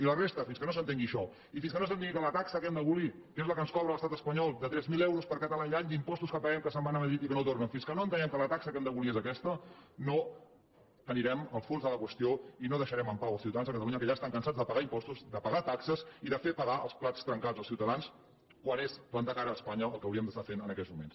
i la resta fins que no s’entengui això i fins que no s’entengui que la taxa que hem d’abolir que és la que ens cobra l’estat espanyol de tres mil euros per català i any d’impostos que paguem que se’n van a madrid i que no tornen fins que no entenguem que la taxa que hem d’abolir és aquesta no anirem al fons de la qüestió i no deixarem en pau els ciutadans de catalunya que ja estan cansats de pagar impostos de pagar taxes i de fer pagar els plats trencats als ciutadans quan és plantar cara a espanya el que hauríem d’estar fent en aquests moments